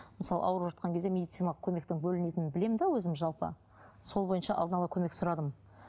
мысалы ауырып жатқан кезде медициналық көмектің бөлінетінін білемін де өзім жалпы сол бойынша алдын ала көмек сұрадым